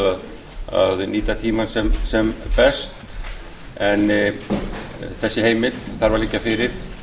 að sjálfsögðu að nýta tímann sem best en þessi heimild þarf að liggja fyrir